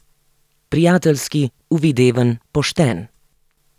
Prijateljski, uvideven, pošten.